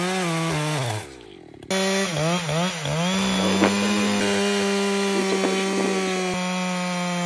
Ina uwar ɗan nan ne ta zo ta ba shi ruwa ya sha.